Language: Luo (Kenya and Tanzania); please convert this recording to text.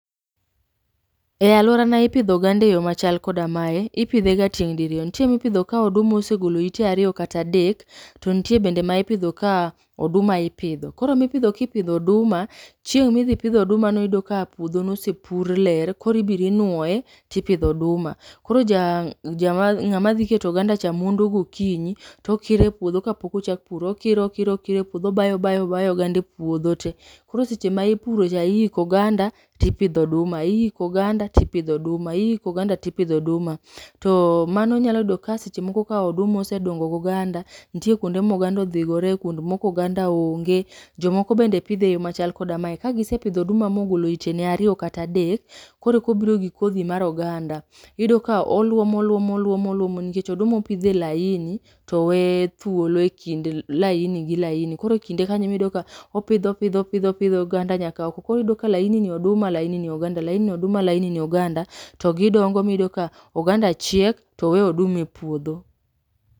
E aluorana ipidho oganda eyo machal koda mae ,ipidhe ga tieng' diriyo ,nitie ma ipidho ka oduma osegolo ite ariyo kata adek, nitie bende ma ipidho ka oduma ipidho, koro mipidhi kipimo oduma ,chieng' mi dhi pith oduma no iyudo ka puodho nosepur ler, koro ibiro inuoye tipidho oduma ,koro ng'ama dhi keto oganda cha mondo gokinyi to kiro e puodho kapok ochak pur, okikoro okiro okiro e puodho obayapo obayo obayo oganda e puodho te ,koro seche ma ipuro cha iiko oganda to ipidho oduma ,iiko oganda tipidho oduma ,iiko oganda tipidho oduma, to mano nyalo yudo ka seche moko ka oduma osedongo go ganda nitie kuonde moganda odhigore kuond moko oganda onge ,jomoko bende pidhe e yo machalo koda mae, ka gisepidho oduma mogolo ite ne ariyo kata adek koro kobiro gi kodhi mag oganda, iyudo ka oluomo luomo oluomo oluomo nikech oduma opidh e laini to owe thuolo e kind laini gi laini, koro e kinde kanyo ema iyudo ka opidho opidho opidho oganda nyaka oko ,koro iyudo ka laini ni oganda laini ni oduma, laini ni oduma laini ni oduma, to gidongo miyudo ka oduma chiek to we oganda e puodho